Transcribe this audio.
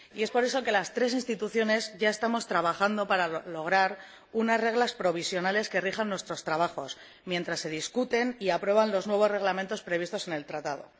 Y, por eso, las tres instituciones ya estamos trabajando para establecer unas reglas provisionales que rijan nuestros trabajos mientras se debaten y aprueban los nuevos reglamentos previstos en el Tratado.